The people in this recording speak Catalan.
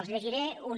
els llegiré una